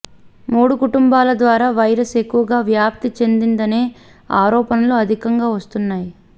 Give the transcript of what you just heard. మూడు కుటుంబాల ద్వారా వైరస్ ఎక్కువగా వ్యాప్తి చెందిందనే ఆరోపణలు అధికంగా వస్తున్నాయి